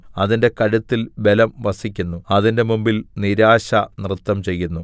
അതിന്റെ കഴുത്തിൽ ബലം വസിക്കുന്നു അതിന്റെ മുമ്പിൽ നിരാശ നൃത്തം ചെയ്യുന്നു